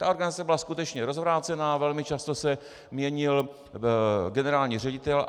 Ta organizace byla skutečně rozvrácená, velmi často se měnil generální ředitel.